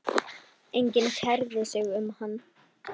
Enginn kærði sig um hann.